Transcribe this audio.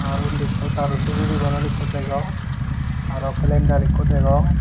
ar undi ekko daru sijili bodol ekko degong aro kelendar ekko degong.